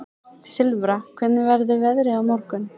Silfra, hvernig verður veðrið á morgun?